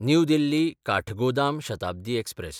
new Delhi Kathgodam Shatabdi express